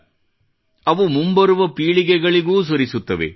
಻ವು ಮುಂಬರುವ ಪೀಳಿಗೆಗಳಿಗೂ ಸುರಿಸುತ್ತವೆ